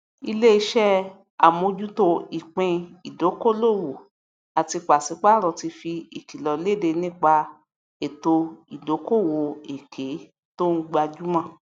iléiṣẹ amójútó ìpín ìdókolòwò àti paṣipaarọ ti fi ìkìlọ léde nípa ètò ìdokoowo èké tó ń gbajúmọ